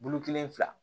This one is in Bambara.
Bulu kelen fila